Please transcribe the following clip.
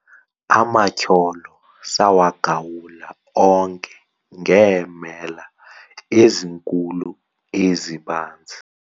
amatyholo sawagawula onke ngeemela ezinkulu ezibanzi